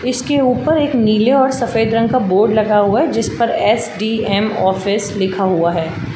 इस के ऊपर एक नीले और सफ़ेद रंग का बोर्ड लगा हुआ है जिस पर एस.डी.एम. ऑफिस लिखा हुआ है।